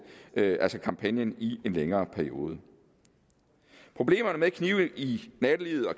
kampagnen i en længere periode problemerne med knive i nattelivet og